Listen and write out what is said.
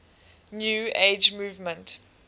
new age movement